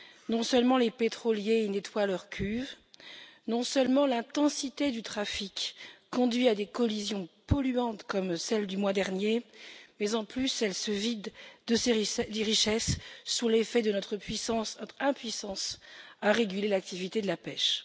Non seulement les pétroliers y nettoient leurs cuves, non seulement l'intensité du trafic conduit à des collisions polluantes comme celle du mois dernier, mais en plus elle se vide de ses richesses sous l'effet de notre impuissance à réguler l'activité de la pêche.